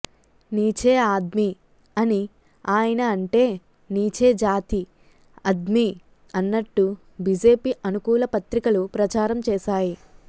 నీచే ఆద్మీ అని ఆయన అంటే నీచే జాతి అద్మీ అన్నట్టు బిజెపి అనుకూల పత్రికలు ప్రచారం చేశాయి